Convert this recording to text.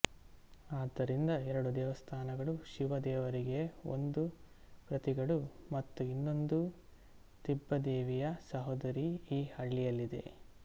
ಆದ್ದರಿಂದ ಎರಡು ದೇವಸ್ಥಾನಗಳು ಶಿವ ದೇವರಿಗೆ ಒಂದು ಪ್ರತಿಗಳು ಮತ್ತು ಇನ್ನೊಂದು ತಿಬ್ಬದೇವಿಯ ಸಹೋದರಿ ಈ ಹಳ್ಳಿಯಲ್ಲಿದೆ